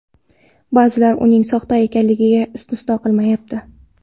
Ba’zilar uning soxta ekanligini istisno qilmayapti.